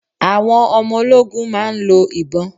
Àwọn ọmọ ológun máa ń lọ ìbọn.